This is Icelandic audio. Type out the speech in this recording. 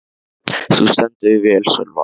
Þú stendur þig vel, Sölvar!